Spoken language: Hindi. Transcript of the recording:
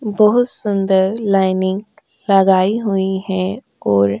बोहोत सुंदर लाइनिंग लगाई हुई है और --